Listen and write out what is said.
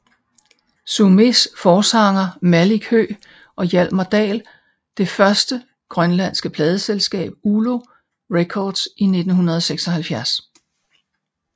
Sumés forsanger Malik Høegh og Hjalmar Dahl det første grønlandske pladeselskab ULO records i 1976